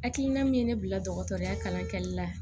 Hakilina min ye ne bila dɔgɔtɔrɔya kalan kɛli la